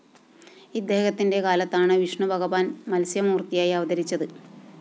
ഇദ്ദേഹത്തിന്റെ കാലത്താണ് വിഷ്ണുഭഗവാന്‍ മത്സ്യമൂര്‍ത്തിയായി അവതരിച്ചത്